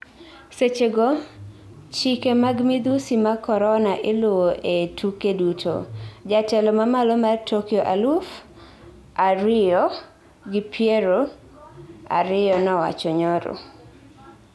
Sechego, chike mag midhusi mag korona iluwo ee tuke duto, jatelo mamalo mar Tokyo aluf ariyo gi piero ariyo nowacho nyoro